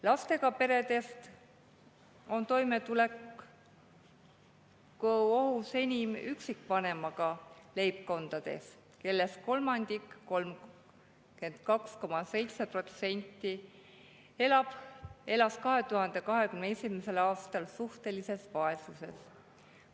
Lastega peredest on toimetulekuohus enim üksikvanemaga leibkonnad, kellest kolmandik ehk 32,7% elas 2021. aastal suhtelises vaesuses.